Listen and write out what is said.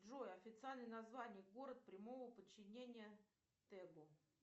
джой официальное название город прямого подчинения тэгу